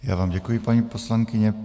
Já vám děkuji, paní poslankyně.